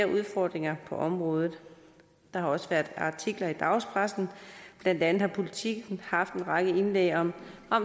udfordringer på området der har også været artikler i dagspressen blandt andet har politiken haft en række indlæg om